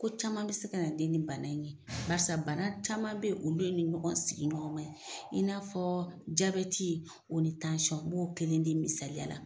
Ko caman be se ka na den nin bana in ye. Barisa bana caman be yen, olu ye ɲɔgɔn sigi ɲɔgɔn man ye. I n'a fɔ jabɛti o ni tansiyɔn. N b'o kelen di misaliya la.